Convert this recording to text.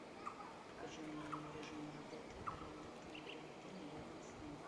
покажи мне режим работы аренды автомобиля в отеле и рядом с ним